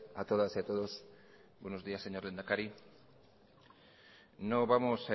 a todas y a todos buenos días señor lehendakari no vamos